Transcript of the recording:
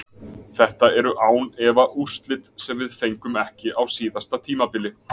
Þetta eru án efa úrslit sem við fengum ekki á síðasta tímabili.